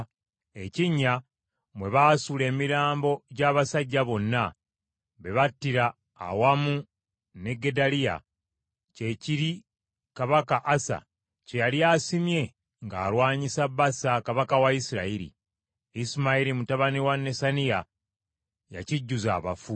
Ekinnya mwe baasuula emirambo gy’abasajja bonna be battira awamu ne Gedaliya, kye kiri kabaka Asa kye yali asimye ng’alwanyisa Baasa kabaka wa Isirayiri. Isimayiri mutabani wa Nesaniya yakijjuza abafu.